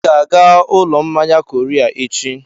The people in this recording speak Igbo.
Ị ga-aga ụlọ mmanya Korea echi!